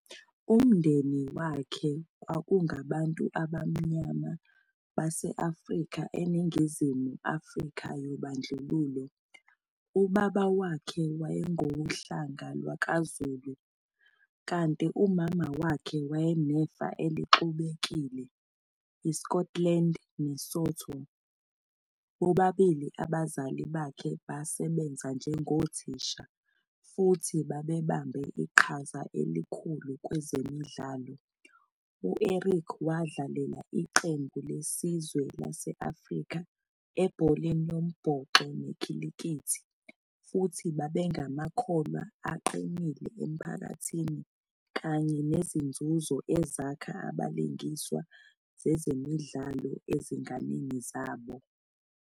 Umndeni wakhe kwakungabantu abamnyama base-Afrika eNingizimu Afrika yobandlululo, ubaba wakhe wayengowohlanga lwakwaZulu, kanti umama wakhe wayenefa elixubekile, IScotland neSotho. Bobabili abazali bakhe basebenza njengothisha, futhi babebambe iqhaza elikhulu kwezemidlalo, U-Eric wadlalela iqembu lesizwe lase-Afrika ebholeni lombhoxo nekhilikithi, futhi babengamakholwa aqinile emphakathini kanye nezinzuzo ezakha abalingiswa zezemidlalo ezinganeni zabo.